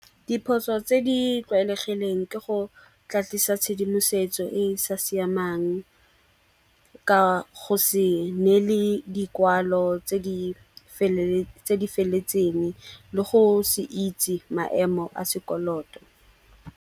Diphoso tse di tlwaelegileng ke go tlatlisa tshedimosetso e e sa siamang ka go se neele dikwalo tse di feleletseng le go se itse maemo a sekoloto.